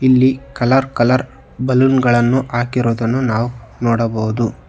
ಇಲ್ಲಿ colour colour balloon ಗಳನ್ನು ಹಾಕಿರೋದನ್ನು ನಾವು ನೋಡಬಹುದು.